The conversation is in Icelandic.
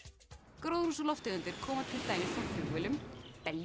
gróðurhúsalofttegundir koma til dæmis frá flugvélum